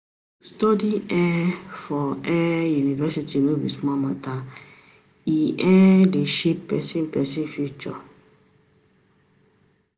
To study um for um university no be small mata o, e um dey shape pesin pesin future.